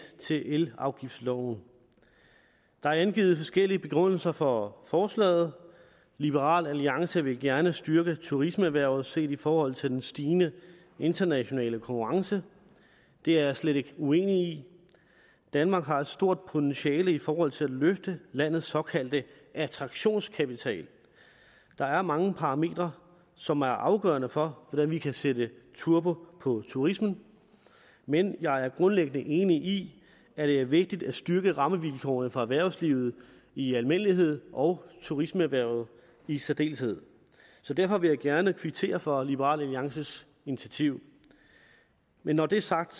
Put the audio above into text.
til elafgiftsloven der er angivet forskellige begrundelser for forslaget liberal alliance vil gerne styrke turismeerhvervet set i forhold til den stigende internationale konkurrence det er jeg slet ikke uenig i danmark har et stort potentiale i forhold til at løfte landets såkaldte attraktionskapital der er mange parametre som er afgørende for hvordan vi kan sætte turbo på turismen men jeg er grundlæggende enig i at det er vigtigt at styrke rammevilkårene for erhvervslivet i almindelighed og turismeerhvervet i særdeleshed derfor vil jeg gerne kvittere for liberal alliances initiativ men når det er sagt